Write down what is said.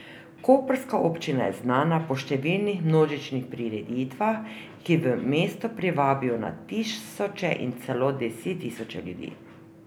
Koprska občina je znana po številnih množičnih prireditvah, ki v mesto privabijo na tisoče in celo desettisoče ljudi.